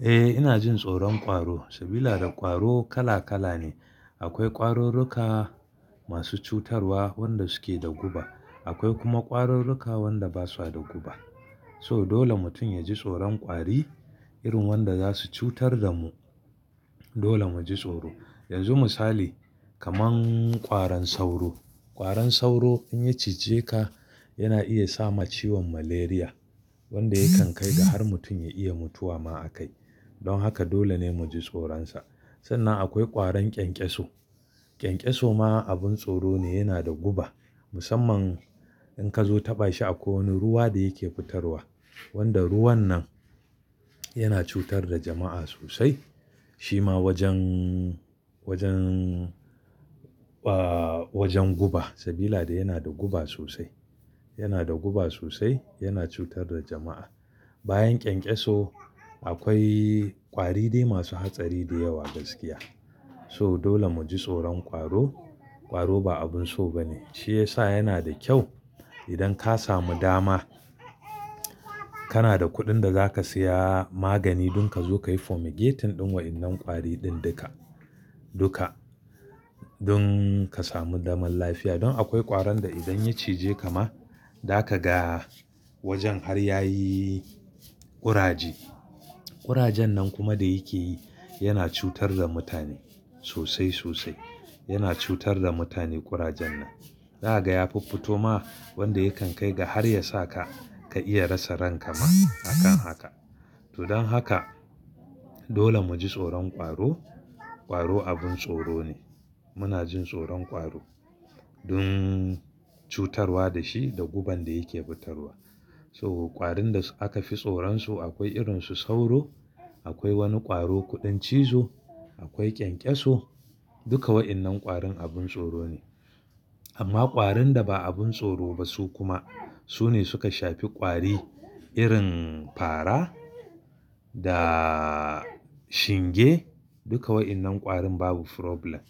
Eh ina jin tsoron ƙwaro, sabila da ƙwaro kala kala ne. Akwai ƙwarurruka masu cutarwa wanda suke da guba, akwai kuma ƙwarurruka wanda basu da guba. So dole mutum ya ji tsoron ƙwari irin wanda zasu cutar da mu. Dole mu ji tsoro. Akwai ƙwarurruka masu cutarwa wanda suke da guba, akwai kuma ƙwarurruka wanda basu da guba. So dole mutum ya ji tsoron ƙwari irin wanda zasu cutar da mu. Sannan akwai ƙwaron ƙenƙeso, ƙenƙeso ma abun tsoro ne yana da guba. Musamman in ka zo taɓa shi a ko wani ruwa da yake fitarwa, wanda ruwan nan yana cutar da jama'a sosai. Shi ma wajen, wajen, ahhh wajen guba sabila da yana da guba sosai, yana da guba sosai yana cutar da jama'a. Bayan ƙenƙeso akwai ƙwari dai masu hatsari da yawa gaskiya. So dole mu ji tsoron ƙwaro. Ƙwaro ba abun so ba ne. Shi ya sa yana da kyau idan ka samu dama, kana da kuɗin da zaka siya magani dun ka zo ka yi fumigating ɗin wa'innan ƙwari duka, duka dun ka samu daman lafiya. Don akwai ƙwaron da idan ya cije ka ma daka ga wajen har yayi ƙuraje. Kurajen nan kuma da yake yi yana cutar da mutane sosai sosai, yana cutar da mutane ƙurajen nan. Zaka ga ya fuffuto ma wanda yakan kai ga har ya sa ka, ka iya rasa ranka ma akan haka. To don haka dole mu ji tsoron ƙwaro. Ƙwaro abun tsoro ne. Muna jin tsoron ƙwaro dun cutarwa da shi da guban da yake fitarwa. So ƙwarin da aka fi tsoron su akwai irin su sauro, akwai wani ƙwaro kuɗan cizo, akwai ƙenƙeso, duka wa'innan ƙwarin abun tsoro ne. Amma ƙwarin da ba abun tsoro ba su kuma, su ne suka shafi ƙwari irin faara da shinge duka wa'innan ƙwarin babu problem.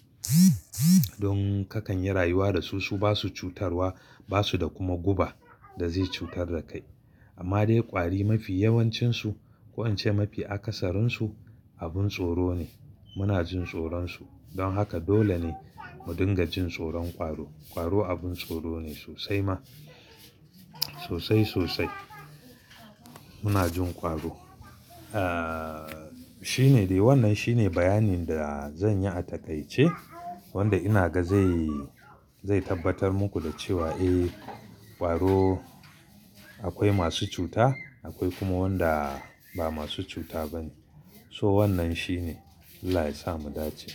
Don kakan yi rayuwa da su, su basu cutarwa basu da kuma guba da zai cutar da kai. Amma dai ƙwari mafi yawancin su, ko in ce mafi akasarin su abun tsoro ne. Muna jin tsoron su. Don haka dole ne mu dinga jin tsoron ƙwaro. Ƙwaro abun tsoro ne sosai ma, sosai sosai. Muna jin ƙwaro. Ahhh shine dai wannan shine bayanin da zan yi a taƙaice, wanda ina ga zai, zai tabbatar muku da cewa eh ƙwaro akwai masu cuta, akwai kuma wanda ba masu cuta ba ne. So wannan shine Allah ya sa mu dace.